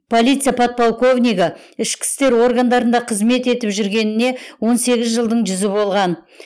полиция подполковнигі ішкі істер органдарында қызмет етіп жүргеніне он сегіз жылдың жүзі болған